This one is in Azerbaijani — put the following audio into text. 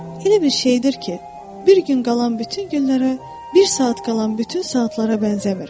Elə bir şeydir ki, bir gün qalan bütün günlərə, bir saat qalan bütün saatlara bənzəmir.